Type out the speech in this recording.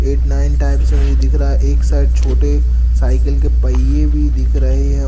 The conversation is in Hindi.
एट नाइन टाइप से मुझे दिख रहा है एक साइड छोटे साइकिल के पहिए भी दिख रहे हैं।